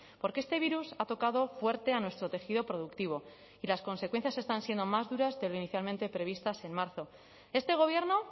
porque este virus ha tocado fuerte a nuestro tejido productivo y las consecuencias están siendo más duras de lo inicialmente previstas en marzo este gobierno